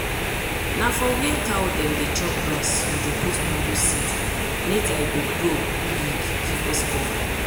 na for where cow dem dey chop grass we dey put mango seed later e go grow big give us cover.